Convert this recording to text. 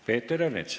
Peeter Ernits.